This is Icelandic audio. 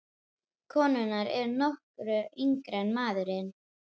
Konurnar eru nokkru yngri en maðurinn.